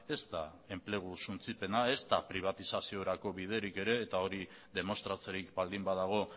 ez da enplegu suntsipena ez da pribatizaziorako biderik ere eta hori demostratzerik baldin badago